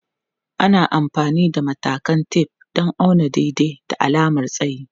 Ana amfani da matakan tef don auna daidai da alamar tsayi.